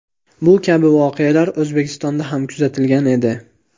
Bu kabi voqealar O‘zbekistonda ham kuzatilgan edi .